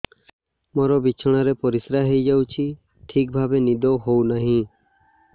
ମୋର ବିଛଣାରେ ପରିସ୍ରା ହେଇଯାଉଛି ଠିକ ଭାବେ ନିଦ ହଉ ନାହିଁ